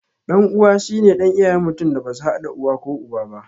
Ɗan uwa shine ɗan iyayen mutum da basu haɗa uwa ko uba aba